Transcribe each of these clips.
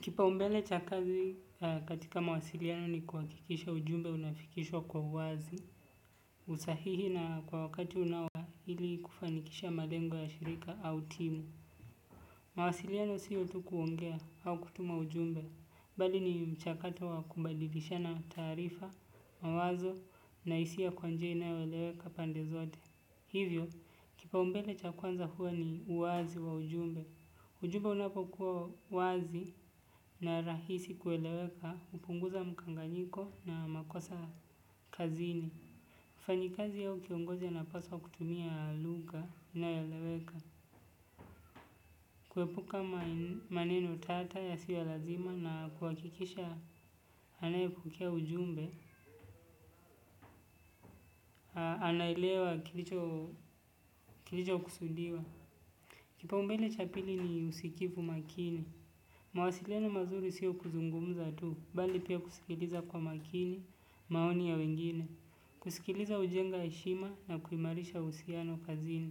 Kipa umbele cha kazi katika mawasiliano ni kuwakikisha ujumbe unafikishwa kwa uwazi. Usahihi na kwa wakati unao hili kufanikisha malengo ya shirika au timu. Mawasiliano siyo tu kuongea au kutuma ujumbe. Bali ni mchakato wa kumbadidisha na taarifa, mawazo na isi ya kwa njia inawelewe kapande zote. Hivyo, kipa umbele cha kwanza huwa ni uwazi wa ujumbe. Ujube unapokuwa wazi na rahisi kueleweka, upunguza mukanganyiko na makosa kazini. Fanyikazi yao kiongozi anapaswa kutumia lugha inayoeleweka. Kuepuka maneno tata yasio lazima na kuwakikisha anayepukea ujumbe, anayelewa kilicho kusundiwa. Kipaumbele cha pili ni usikivu makini. Mwasiliano mazuri siyo kuzungumza tu, bali pia kusikiliza kwa makini, maoni ya wengine, kusikiliza ujenga heshima na kuimarisha usiano kazini.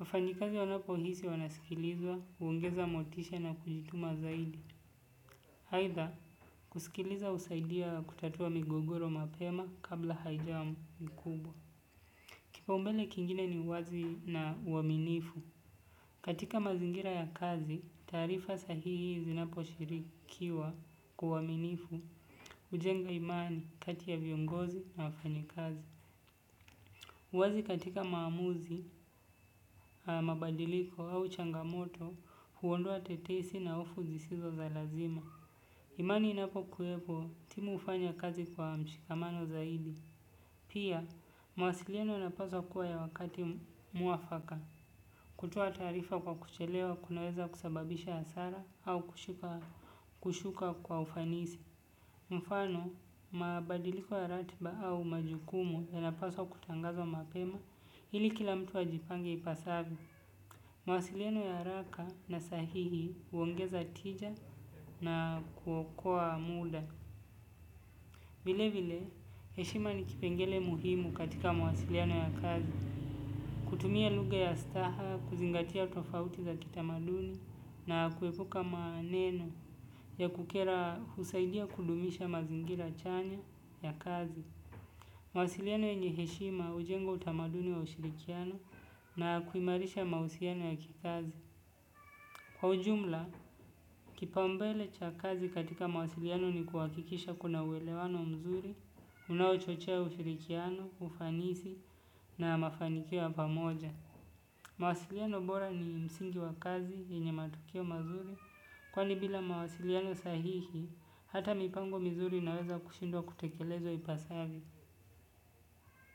Wafanyikazi wanapohisi wanasikilizwa, uongeza motisha na kujituma zaidi. Haitha, kusikiliza usaidia kutatua migogoro mapema kabla haijamu mkubwa. Kipa umbele kingine ni wazi na uaminifu. Katika mazingira ya kazi, tarifa sahihi zinapo shirikiwa kwa uaminifu ujenga imani katia viongozi na wafanyekazi. Uwazi katika maamuzi, mabadiliko au changamoto huondoa tetesi na hofu zisizo za lazima. Imani inapo kuepo timu ufanya kazi kwa mshikamano zaidi. Pia, mwasiliano inapaswa kuwa ya wakati mwafaka. Kutoa tarifa kwa kuchelewa kunaweza kusababisha hasara au kushuka kwa ufanisi. Mfano, mabadiliko ya ratiba au majukumu yanapaswa kutangazwa mapema, ili kila mtu wa jipange ipasavyo. Mwasiliano ya araka na sahihi uongeza tija na kuokoa muda. Vile vile, heshima ni kipengele muhimu katika mwasiliano ya kazi. Kutumia luga ya staha, kuzingatia utofauti za kitamaduni na kuepuka maneno ya kukera husaidia kudumisha mazingira chanya ya kazi. Mwasiliano yanye heshima ujengo utamaduni wa ushirikiano na kuimarisha mausiano ya kikazi. Kwa ujumla, kipaumbele cha kazi katika mawasiliano ni kuwakikisha kuna uwelewano mzuri, unao chochea ufirikiano, ufanisi na mafanikio ya pamoja. Mwasiliano bora ni msingi wa kazi yenye matukio mazuri, kwani bila mawasiliano sahihi, hata mipango mizuri naweza kushindwa kutekelezo ipasavyo.